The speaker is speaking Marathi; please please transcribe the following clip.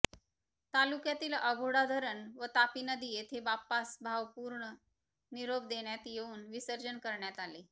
तालुक्यातील अभोडा धरण व तापी नदी येथे बाप्पास भावपुर्ण निरोप देण्यात येवुन विसर्जन करण्यात आले